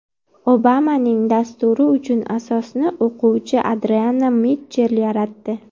Obamaning dasturi uchun asosni o‘quvchi Adrianna Mitchell yaratdi.